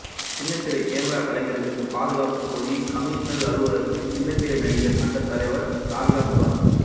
சின்னத்திரை கேமரா கலைஞர்களுக்கு பாதுகாப்பு கோரி கமிஷனர் அலுவலகத்தில் சின்னத்திரை நடிகர் சங்க தலைவர் ராதிகா புகார்